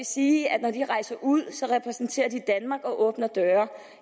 sige at når de rejser ud repræsenterer de danmark og åbner døre